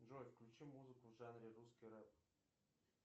джой включи музыку в жанре русский рэп